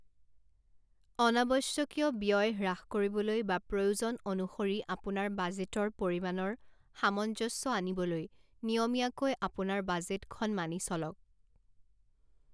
অনাৱশ্যকীয় ব্যয় হ্ৰাস কৰিবলৈ বা প্ৰয়োজন অনুসৰি আপোনাৰ বাজেটৰ পৰিমাণৰ সামঞ্জস্য আনিবলৈ নিয়মীয়াকৈ আপোনাৰ বাজেটখন মানি চলক।